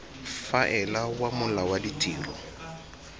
faela wa mola wa ditiro